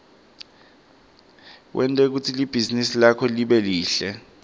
wente kutsi libhizinisi lakho libe lihle